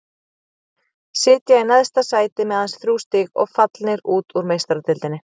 Sitja í neðsta sæti með aðeins þrjú stig og fallnir út úr Meistaradeildinni.